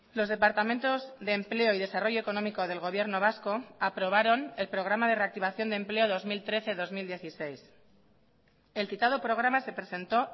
los departamentos de empleo y desarrollo económico del gobierno vasco aprobaron el programa de reactivación de empleo dos mil trece dos mil dieciséis el citado programa se presentó